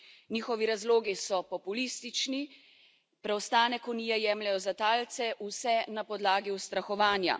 Njihovi razlogi so populistični, preostanek Unije jemljejo za talce vse na podlagi ustrahovanja.